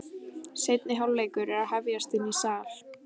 Seinni hálfleikur er að hefjast inni í sal.